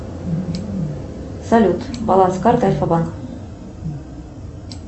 салют баланс карты альфабанк